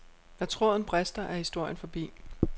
Når tråden brister er historien forbi.